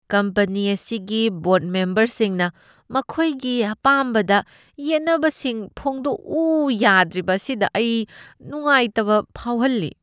Company ꯑꯁꯤꯒꯤ ꯕꯣꯔꯗ ꯃꯦꯝꯕꯔꯁꯤꯡꯅ ꯃꯈꯣꯏꯒꯤ ꯑꯄꯥꯝꯕꯗ ꯌꯦꯠꯅꯕꯁꯤꯡ ꯐꯣꯡꯗꯣꯛꯎ ꯌꯥꯗ꯭ꯔꯤꯕ ꯑꯁꯤꯗ ꯑꯩ ꯅꯨꯉꯉꯥꯏꯇꯕ ꯐꯥꯎꯍꯜꯂꯤ꯫